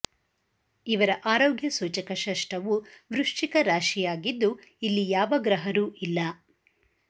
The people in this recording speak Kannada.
ಇವರ ಆರೋಗ್ಯ ಸೂಚಕ ಷಷ್ಟವು ವೃಶ್ಚಿಕರಾಶಿಯಾಗಿದ್ದು ಇಲ್ಲಿ ಯಾವ ಗ್ರಹರೂ ಇಲ್ಲ